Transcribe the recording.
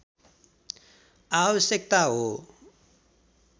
आवश्यकता हो